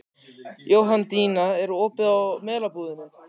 Jóhanndína, er opið í Melabúðinni?